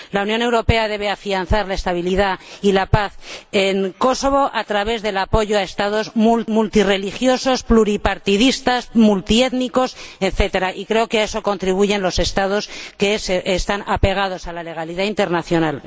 La Unión Europea debe afianzar la estabilidad y la paz en Kosovo a través del apoyo a Estados multirreligiosos, pluripartidistas, multiétnicos, etcétera, y creo que a eso contribuyen los Estados que respetan la legalidad internacional.